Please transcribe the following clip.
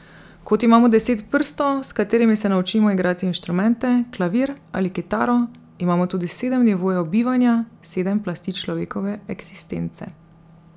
Kot imamo deset prstov, s katerimi se naučimo igrati inštrumente, klavir ali kitaro, imamo tudi sedem nivojev bivanja, sedem plasti človekove eksistence.